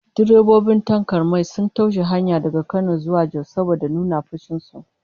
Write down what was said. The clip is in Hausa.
Direbobin tankar mai sun toshe hanyar Kano zuwa Jos saboda nuna fushin su